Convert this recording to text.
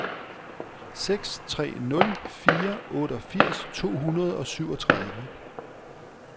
seks tre nul fire otteogfirs to hundrede og syvogtredive